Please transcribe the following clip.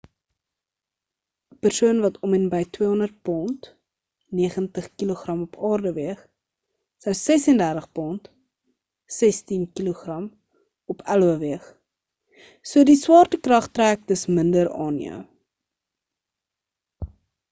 ‘n persoon wat om en by 200 pond 90kg op aarde weeg sou 36 pond 16kg op io weeg. so die swaartekrag trek dus minder aan jou